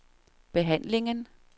behandlingen